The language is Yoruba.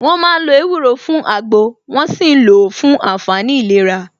Wọ́n ma ń lo ewúro fún àgbò, wón ṣì ń lò ó fún àǹfààní ìlera